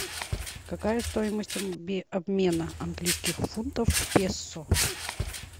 какая стоимость обмена английских фунтов в песо